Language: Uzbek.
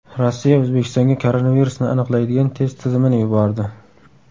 Rossiya O‘zbekistonga koronavirusni aniqlaydigan test tizimini yubordi.